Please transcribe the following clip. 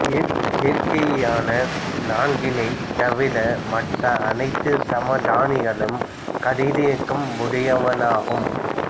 இயற்கையான நான்கைத் தவிர மற்றைய அனைத்துச் சமதானிகளும் கதிரியக்கம் உடையனவாகும்